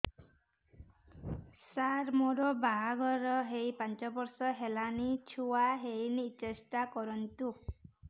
ସାର ମୋର ବାହାଘର ହେଇ ପାଞ୍ଚ ବର୍ଷ ହେଲାନି ଛୁଆ ହେଇନି ଟେଷ୍ଟ କରନ୍ତୁ